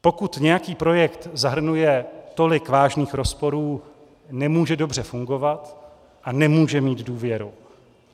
Pokud nějaký projekt zahrnuje tolik vážných rozporů, nemůže dobře fungovat a nemůže mít důvěru.